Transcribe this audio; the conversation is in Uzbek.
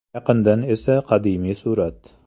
Yaqindan esa qadimiy surat.